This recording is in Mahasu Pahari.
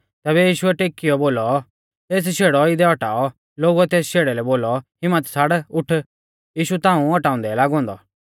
तैबै यीशुऐ टेकीऔ बोलौ एस शेड़ौ इदै औटाऔ लोगुऐ तेस शेड़ै लै बोलौ हिम्मत छ़ाड़ उठ यीशु ताऊं औटाउंदै लागौ औन्दौ